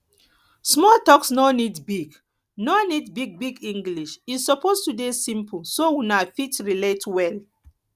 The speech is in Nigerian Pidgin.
small talks no need big no need big big english e suppose de simple so una fit relate well